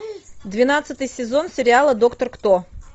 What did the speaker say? двенадцатый сезон сериала доктор кто